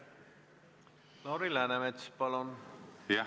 Lauri Läänemets, palun!